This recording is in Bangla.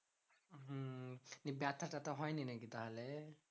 ব্যাথা ট্যাথা হয়নি নাকি তাহলে?